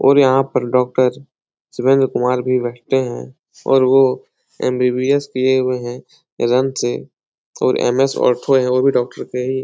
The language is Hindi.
और यहाँ पर डॉक्टर सुरेंद्र कुमार भी बैठते है और वो एम.बी.बी.एस. किये हुए है और एम.एस. ऑर्थो है वो भी डॉक्टर के ही --